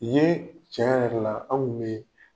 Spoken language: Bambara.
I ye tiɲɛ yɛrɛ la anw kun bɛ yen